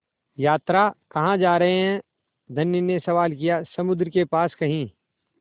यात्रा कहाँ जा रहे हैं धनी ने सवाल किया समुद्र के पास कहीं